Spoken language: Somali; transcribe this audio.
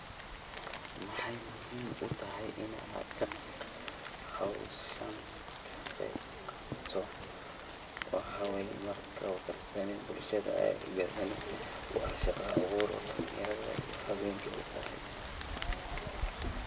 Maxay muhiim u tahay in aad hawshan ka qayb qaadato waxaweyo marki oo karsani bulshadha aya kagadhani wa shaqa abuur dalanyaradha iyo haweynka utahay.